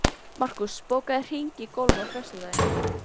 Markús, bókaðu hring í golf á föstudaginn.